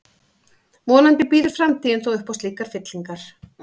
Vonandi býður framtíðin þó upp á slíkar fyllingar.